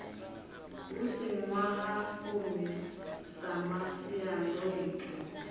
hu si ṅwahafumi sa masiandoitwa